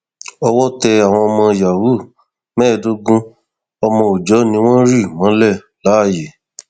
owó tẹ àwọn ọmọ yahoo mẹẹẹdógún ọmọ òòjọ ni wọn rì mọlẹ láàyè